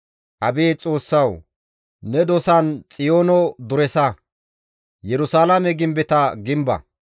Abeet Xoossawu! Ne dosan Xiyoono duresa; Yerusalaame gimbeta gimba.